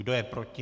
Kdo je proti?